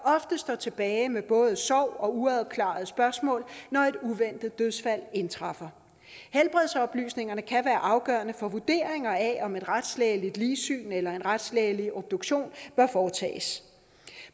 står tilbage med både sorg og uafklarede spørgsmål når et uventet dødsfald indtræffer helbredsoplysninger kan være afgørende for vurderingen af om et retslægeligt ligsyn eller en retslægelig obduktion bør foretages